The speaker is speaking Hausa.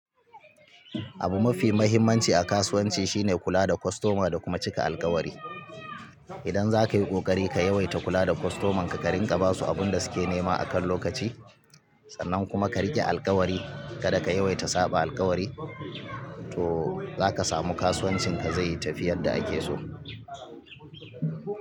Abu mafi muhimmanci a kasuwanci shine kula da kostoma da kuma cika alkawari. Idan zakayi kokari ka yawaita kula da kostoman ka, ka rinƙa basu abunda suke nema akan lokaci, sannan kuma ka riƙe alkawari kada ka yawaita saɓa alkawari, to zaka samu kasuwancin ka zai yi tafiyar da ake so.